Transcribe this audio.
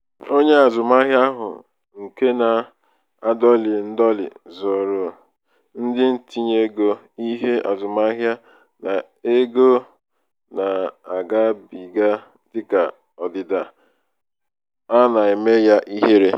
onye azụmahịa ahụ nke na-adọlị ndọlị zooro ndị ntinteego ihe azụmahịa na ego na-agabiga dịka ọdịda a na-eme ya ihere.